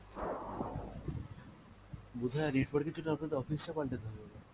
বোধ হয় network এর জন্য আপনাদের office টা পালটাতে হবে এবার।